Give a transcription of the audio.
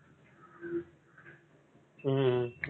ஹம்